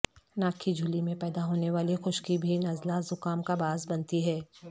ناک کی جھلی میں پیدا ہونے والی خشکی بھی نزلہ زکام کا باعث بنتی ہے